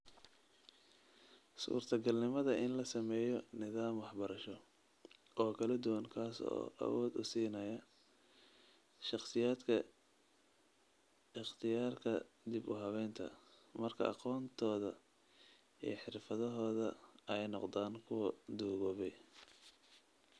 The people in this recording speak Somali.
Suurtagalnimada in la sameeyo nidaam waxbarasho oo kala duwan kaas oo awood u siinaya shakhsiyaadka ikhtiyaarka dib u habeynta, marka aqoontooda iyo xirfadahooda ay noqdaan kuwo duugoobay.